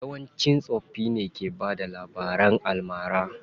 Yawanci tsofaffin ke bada labaran almara.